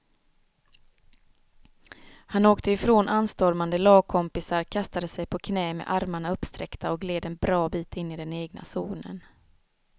Han åkte ifrån anstormande lagkompisar, kastade sig på knä med armarna uppsträckta och gled en bra bit in i den egna zonen.